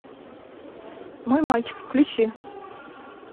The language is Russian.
мой мальчик включи